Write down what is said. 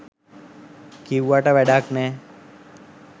කිව්වට වැඩක් නෑ.